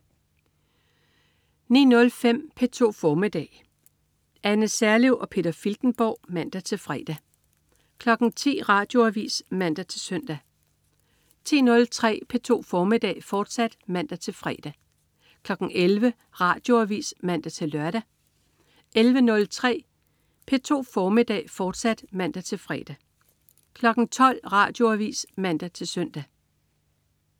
09.05 P2 formiddag. Anne Serlev og Peter Filtenborg (man-fre) 10.00 Radioavis (man-søn) 10.03 P2 formiddag, fortsat (man-fre) 11.00 Radioavis (man-lør) 11.03 P2 formiddag, fortsat (man-fre) 12.00 Radioavis (man-søn)